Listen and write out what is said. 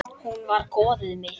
Hún var goðið mitt.